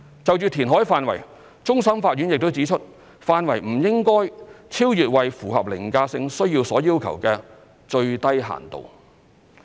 就填海範圍，終審法院亦指出範圍不應該超越為符合凌駕性需要所要求的"最低限度"。